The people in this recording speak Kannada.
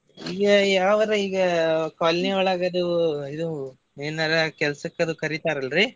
ಇವ ಯಾವರಾ ಈಗ colony ಯೊಳಗ ಅದು ಇದು ಏನಾರಾ ಕೆಲಸಕ್ಕದು ಕರಿತಾರ ಅಲ್ರೀ.